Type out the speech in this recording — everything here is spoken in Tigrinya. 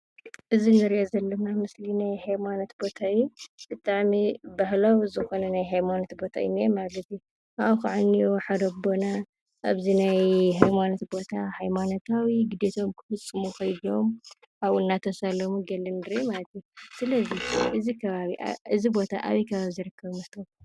አዚ እንሪኦ ዘለና ምስሊ ናይ ሃይማኖት ቦታ እዩ። ብጣዕሚ ባህላዊ ዝኾነ ናይ ሃይማኖት ቦታ እዩ እንሄ ማለት እዩ። ካቡኡ ከዓ እንኤዉ ሓደ ኣቦና ኣብዚ ናይ ሃይማኖት ቦታ ሃይማኖታዊ ክዴትኦም ክፍፅሙ ኣብኡ እናፀለዩ ንርኢ። ስለዚ እዚ ቦታ ኣበይ ከም ዝርከብ